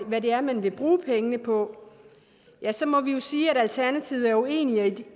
hvad det er man vil bruge pengene på ja så må vi jo sige at alternativet er uenige